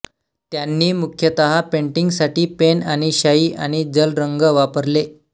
त्यांनी मुख्यतः पेंटिंगसाठी पेन आणि शाईआणि जल रंग वापरले